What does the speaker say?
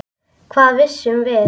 Hvað vissum við?